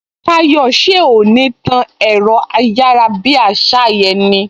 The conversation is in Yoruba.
Táyò, ṣé o ò ní tán ẹ̀rọ ayárabíàṣá yẹn ni!